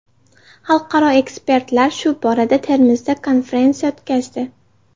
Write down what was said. Xalqaro ekspertlar shu borada Termizda konferensiya o‘tkazdi.